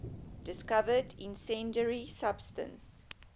discovered incendiary substance